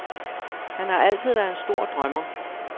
Han har altid været en stor drømmer.